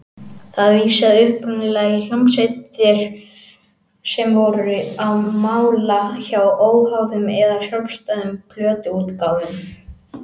Það vísaði upprunalega í hljómsveitir sem voru á mála hjá óháðum eða sjálfstæðum plötuútgáfum.